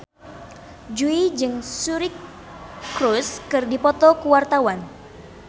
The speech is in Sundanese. Jui jeung Suri Cruise keur dipoto ku wartawan